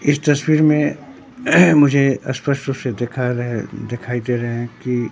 इस तस्वीर में मुझे स्पष्ट रूप से देखा रहे दिखाई दे दिखाई दे रहे हैं कि--